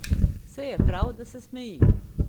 Sej je prav, da se smeji ...